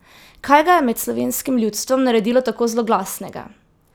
Kaj ga je med slovenskim ljudstvom naredilo tako zloglasnega?